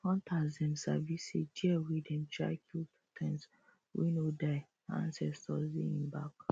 hunters dem sabi say deer wey dem try kill two times wey no die nah ansestors dey hin bak